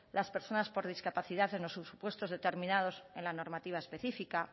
las personas por discapacidad en los supuestos determinados en la normativa específica